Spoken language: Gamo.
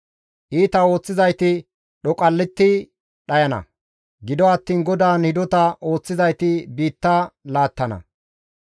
Iita ooththizayti dhoqalletti dhayana; gido attiin GODAAN hidota ooththizayti biitta laattana.